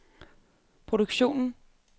produktion